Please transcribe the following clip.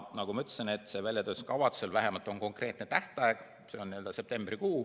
Nagu ma ütlesin, sellel väljatöötamiskavatsusel on vähemalt konkreetne tähtaeg, see on septembrikuu.